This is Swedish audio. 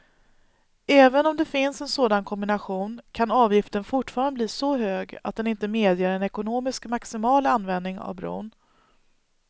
Även om det finns en sådan kombination kan avgiften fortfarande bli så hög att den inte medger en ekonomiskt maximal användning av bron.